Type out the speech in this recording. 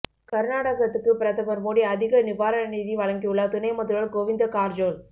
கா்நாடகத்துக்கு பிரதமா் மோடி அதிக நிவாரண நிதி வழங்கியுள்ளாா் துணை முதல்வா் கோவிந்தகாா்ஜோள்